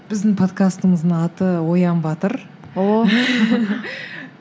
біздің подкастымыздың аты оян батыр ооо